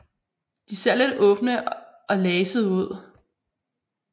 De ser lidt åbne og lasede ud